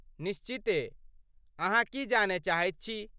निश्चिते, अहाँ की जानय चाहैत छी?